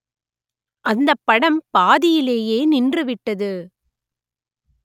அந்தப் படம் பாதியிலேயே நின்றுவிட்டது